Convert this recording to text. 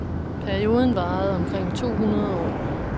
Perioden varede omkring to hundrede år.